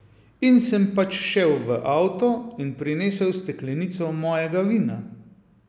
In sem pač šel v avto in prinesel steklenico mojega vina.